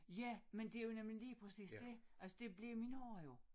Ja men det jo nemlig lige præcis dét altså det blev min horra jo